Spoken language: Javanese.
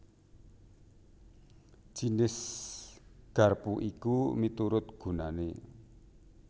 Jinis garpu iki miturut gunané